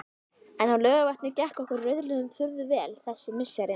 En á Laugarvatni gekk okkur rauðliðum furðu vel þessi misserin.